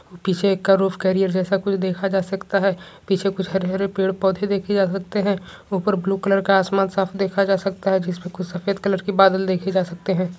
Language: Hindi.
पीछे एक जैसे देखा जा सकता है पीछे कुछ हरे हरे पेड़ पौधे देखे जा सकते हैं ऊपर ब्लू कलर का आसमान साफ देखे जा सकते है जिसपे कुछ सफेद कलर के बादल देखे जा सकते हैं।